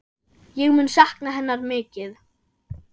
Ég mun sakna hennar mikið.